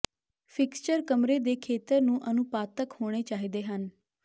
fixture ਕਮਰੇ ਦੇ ਖੇਤਰ ਨੂੰ ਅਨੁਪਾਤਕ ਹੋਣੇ ਚਾਹੀਦੇ ਹਨ